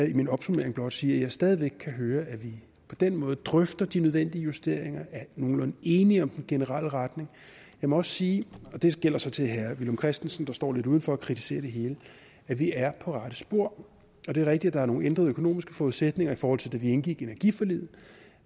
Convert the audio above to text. i min opsummering blot sige at jeg stadig væk kan høre at vi på den måde drøfter de nødvendige justeringer og er nogenlunde enige om den generelle retning jeg må også sige og det gælder så til herre villum christensen der står lidt uden for og kritiserer hele at vi er på rette spor det er rigtigt at der er nogle ændrede økonomiske forudsætninger i forhold til da vi indgik energiforliget